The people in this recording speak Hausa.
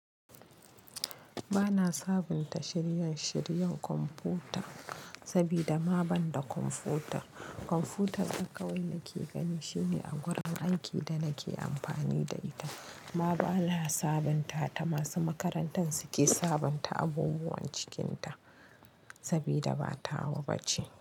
Ba na sabunta shirye-shiryen kwamfuta sabida ma banda kwamfuta. Kwamfutar kawai da nake gani shine a gurin aiki da nake amfani da ita. Ma ba na sabontata. Masu makarantar su ke sabonta abubuwan cikinta sabida ba tawa ba ce.